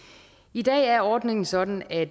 i dag er ordningen sådan at